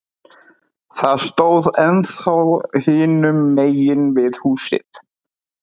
það stóð ennþá hinum megin við húsið.